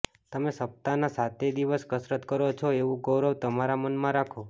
તમે સપ્તાહના સાતેય દિવસ કસરત કરો છો એવું ગૌરવ તમારા મનમાં રાખો